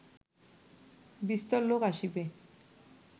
বিস্তর লোক আসিবে